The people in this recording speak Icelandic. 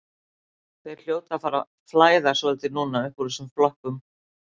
Þeir hljóta að fara að flæða svolítið núna uppúr þessum flokkum.